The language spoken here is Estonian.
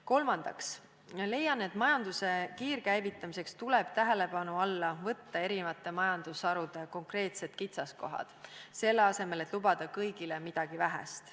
Kolmandaks, leian, et majanduse kiirkäivitamiseks tuleb tähelepanu alla võtta eri majandusharude konkreetsed kitsaskohad, selle asemel et lubada kõigile midagi vähest.